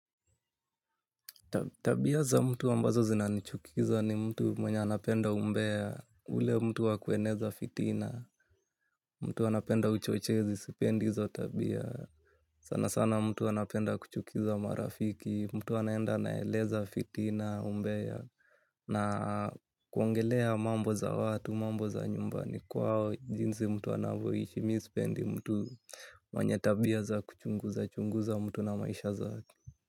Tabia za mtu ambazo zinanichukiza ni mtu mwenye anapenda umbea, ule mtu wa kueneza fitina, mtu anapenda uchochezi, sipendi hizo tabia, sana sana mtu anapenda kuchukiza marafiki, mtu anaenda anaeleza fitina umbea, na kuongelea mambo za watu, mambo za nyumbani, kwao jinsi mtu anavyoishi mi sipendi mtu mwenye tabia za kuchunguza, chunguza mtu na maisha zake.